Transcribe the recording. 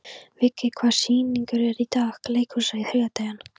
Viggi, hvaða sýningar eru í leikhúsinu á þriðjudaginn?